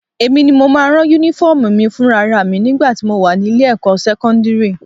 Èmi ni mo máa ń rán Únífọ́ọ̀mù mi fúnra ra mi nígbà tí mo wà ní ilé-ẹ̀kọ́ sẹ́kọ́ndírì